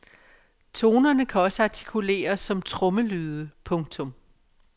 Tonerne kan også artikuleres som trommelyde. punktum